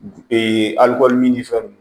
ni fɛn nunnu